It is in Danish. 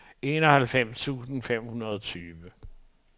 enoghalvfems tusind fem hundrede og femogtyve